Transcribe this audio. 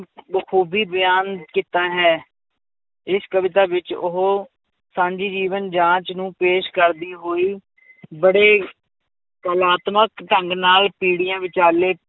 ਖੂਬੀ ਬਿਆਨ ਕੀਤਾ ਹੈ, ਇਸ ਕਵਿਤਾ ਵਿੱਚ ਉਹ ਸਾਂਝੀ ਜੀਵਨ ਜਾਂਚ ਨੂੰ ਪੇਸ਼ ਕਰਦੀ ਹੋਈ ਬੜੇ ਕਲਾਤਮਕ ਢੰਗ ਨਾਲ ਪੀੜ੍ਹੀਆਂ ਵਿਚਾਲੇ